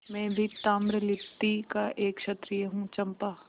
मैं भी ताम्रलिप्ति का एक क्षत्रिय हूँ चंपा